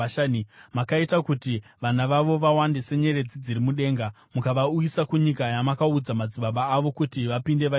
Makaita kuti vana vavo vawande senyeredzi dziri mudenga, mukavauyisa kunyika yamakaudza madzibaba avo kuti vapinde vaitore.